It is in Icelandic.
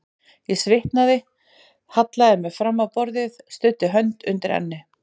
Ég svitnaði, hallaði mér fram á borðið, studdi hönd undir enni.